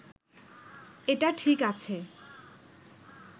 এটা ঠিক আছে